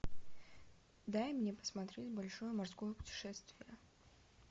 дай мне посмотреть большое морское путешествие